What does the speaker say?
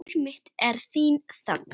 Líf mitt er þín þögn.